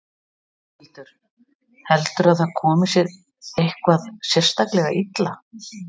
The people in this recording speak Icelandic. Þórhildur: Heldurðu að það komi þér eitthvað sérstaklega illa?